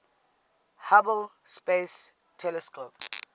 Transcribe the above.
hubble space telescope